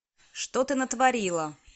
что ты натворила